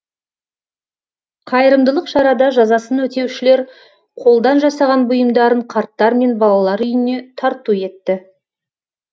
қайырымдылық шарада жазасын өтеушілер қолдан жасаған бұйымдарын қарттар мен балалар үйіне тарту етті